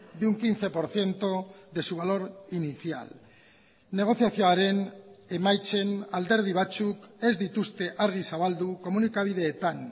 de un quince por ciento de su valor inicial negoziazioaren emaitzen alderdi batzuk ez dituzte argi zabaldu komunikabideetan